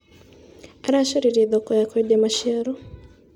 Aracaririe thoko ya kwendia maciaro.